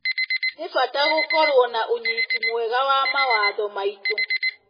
Nĩ bata gũkorwo na ũnyiti mwega wa mawatho maitũ.